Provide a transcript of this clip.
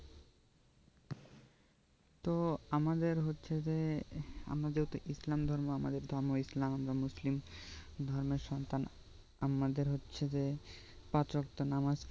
তো আমাদের হচ্ছে যে আমাদের তো ইসলাম ধর্ম আমাদের ধর্ম ইসলাম আমরা মুসলিম ধর্মের সন্তান আমাদের হচ্ছে যে পাঁচ ওয়াক্ত নামাজ